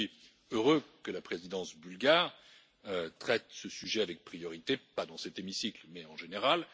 Je suis heureux que la présidence bulgare traite ce sujet avec priorité, pas dans cet hémicycle mais en général.